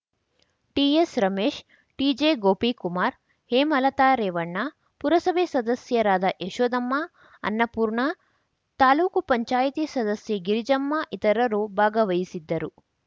ಟಿಎಸ್‌ರಮೇಶ್‌ ಟಿಜೆಗೋಪಿಕುಮಾರ್‌ ಹೇಮಲತಾ ರೇವಣ್ಣ ಪುರಸಭೆ ಸದಸ್ಯರಾದ ಯಶೋದಮ್ಮ ಅನ್ನಪೂರ್ಣ ತಾಲೂಕು ಪಂಚಾಯತಿ ಸದಸ್ಯೆ ಗಿರಿಜಮ್ಮ ಇತರರು ಭಾಗವಹಿಸಿದ್ದರು